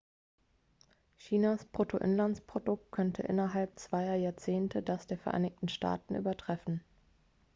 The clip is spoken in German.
chinas bruttoinlandsprodukt könnte innerhalb zweier jahrzehnte das der vereinigten staaten übertreffen